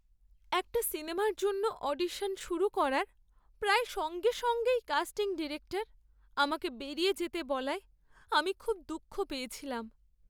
একটা সিনেমার জন্য অডিশন শুরু করার প্রায় সঙ্গে সঙ্গেই কাস্টিং ডিরেক্টর আমাকে বেরিয়ে যেতে বলায় আমি খুব দুঃখ পেয়েছিলাম।